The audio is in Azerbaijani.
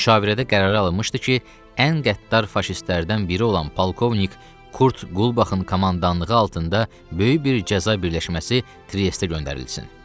Müşavirədə qərarə alınmışdı ki, ən qəddar faşistlərdən biri olan polkovnik Kurt Qulbahın komandanlığı altında böyük bir cəza birləşməsi Triestə göndərilsin.